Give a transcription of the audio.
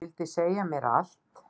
Vildi segja mér allt.